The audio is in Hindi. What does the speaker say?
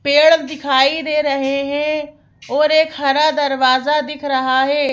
पेड़ दिखाई दे रहे हैं और एक हरा दरवाजा दिख रहा है।